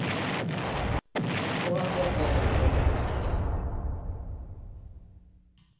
біз бұған да дайын болуымыз керек